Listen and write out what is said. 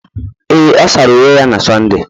Ee, ọ sara uwe ya na Sọnde